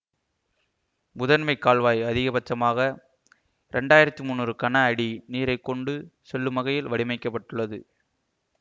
முதன்மை கால்வாய் அதிகபட்சமாக ரெண்டாயிரத்தி முன்னூறு கன அடி நீரை கொண்டு செல்லும் வகையில் வடிமைக்கப்பட்டுள்ளது